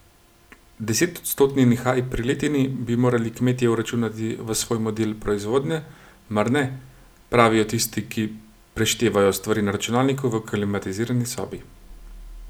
Desetodstotni nihaj pri letini bi morali kmetje vračunati v svoj model proizvodnje, mar ne, pravijo tisti, ki preštevajo stvari na računalniku v klimatizirani sobi.